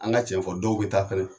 An ka cɛn fɔ dɔw be taa fɛnɛ